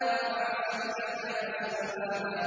رَفَعَ سَمْكَهَا فَسَوَّاهَا